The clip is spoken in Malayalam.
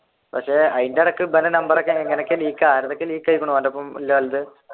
പക്ഷെ അതിന്റെയിടക്ക് ഇവന്റെ നമ്പർ എങ്ങനെയൊക്കെ leak ആയആയിരിക്കുന്നു